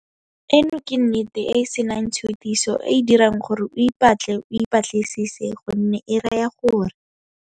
Eno ke nnete e e senang tshutiso e e dirang gore o ipatle o ipa tlisise gonne e raya gore.